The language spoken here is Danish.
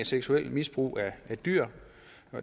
seksuelt misbrug af dyr